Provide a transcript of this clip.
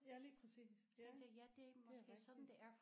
Ja lige præcis ja det er rigtigt